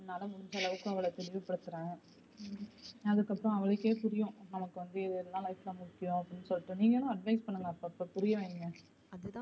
என்னால முடிஞ்ச அளவுக்கு அவள திருப்திபடுத்துறேன் அதுக்கப்பறம் அவளுக்கே புரியும் நமக்கு வந்து இது தான் life ல வந்து முக்கியம் அப்படின்னு சொல்லிட்டு நீங்களும் advice பண்ணுங்க அப்பப்ப புரியவைங்க.